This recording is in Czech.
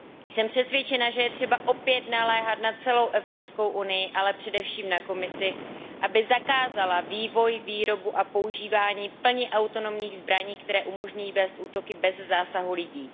Jsem přesvědčena, že je třeba opět naléhat na celou Evropskou unii, ale především na Komisi, aby zakázala vývoj, výrobu a používání plně autonomních zbraní, které umožňují vést útoky bez zásahu lidí.